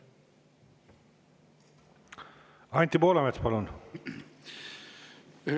Anti Poolamets, palun!